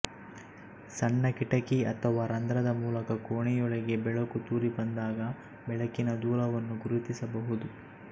ಸಣ್ಣ ಕಿಟಕಿ ಅಥವಾ ರಂಧ್ರದ ಮೂಲಕ ಕೋಣೆಯೊಳಗೆ ಬೆಳಕು ತೂರಿ ಬಂದಾಗ ಬೆಳಕಿನ ದೂಲವನ್ನು ಗುರುತಿಸಬಹುದು